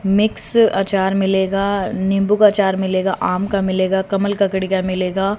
Mix अचार मिलेगा नींबू का अचार मिलेगा आम का मिलेगा कमल ककड़ी का मिलेगा।